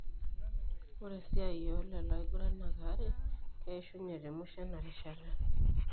Ore esiai oo lelo aiguranak are keishunye temisho enarishata.